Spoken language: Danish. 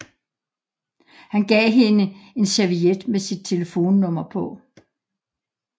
Han gav hende en serviet med sit telefonnummer på